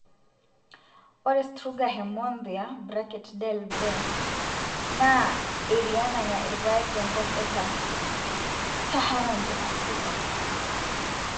ore struga hermonthia (del) benth naa eriaa nanya irpaek te nkop e sub saharana te afrika